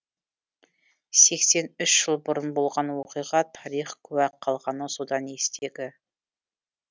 сексен үш жыл бұрын болған оқиға тарих куә қалғаны содан естегі